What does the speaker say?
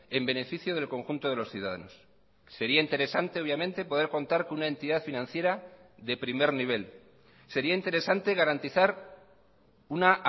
en beneficio del conjunto de los ciudadanos sería interesante obviamente poder contar con una entidad financiera de primer nivel sería interesante garantizar una